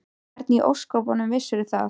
Og hvernig í ósköpunum vissirðu það?